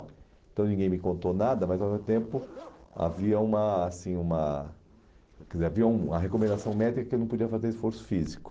Então ninguém me contou nada, mas ao mesmo tempo havia uma, assim, uma, quer dizer, havia uma recomendação médica que eu não podia fazer esforço físico.